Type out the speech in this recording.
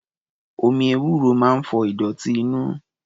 Omi ewúro máa ń fọ ìdọ̀tí inú.